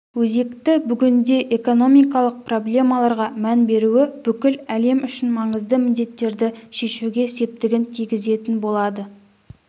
өзекті бүгінде экономикалық проблемаларға мән беруі бүкіл әлем үшін маңызды міндеттерді шешуге септігін тигізетін болады